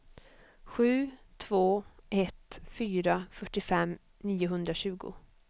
sju två ett fyra fyrtiofem niohundratjugo